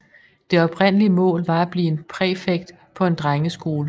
Det oprindelige mål var at blive en præfekt på en drenge skole